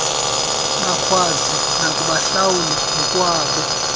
bakwazi nokubahlawula ngokwabo